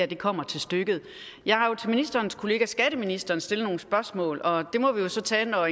det kommer til stykket jeg har jo til ministerens kollega skatteministeren stillet nogle spørgsmål og det må vi jo så tage når